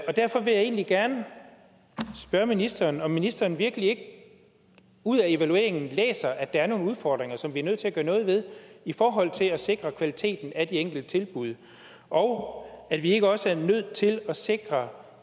derfor vil jeg egentlig gerne spørge ministeren om ministeren virkelig ikke ud af evalueringen læser at der er nogle udfordringer som vi er nødt til at gøre noget ved i forhold til at sikre kvaliteten af de enkelte tilbud og om vi ikke også er nødt til at sikre